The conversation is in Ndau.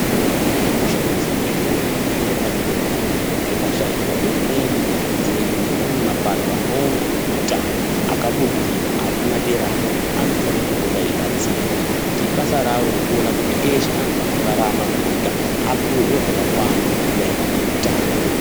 Zviro zvekushandisa muzvibhadhlera zvinofana kuvamo zvikashaika hurumende dzedu nedzimwe mapato anoona nezveutano akabudirira arikumaderayo anofana kupota achibatsira nekuti i basa ravo reutano vese vantu vanorarama vapuwe zvinhu zvakakwana maerarano neutano